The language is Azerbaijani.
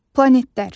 Planetlər.